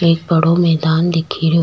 एक बड़ो मैदान दीखेरो।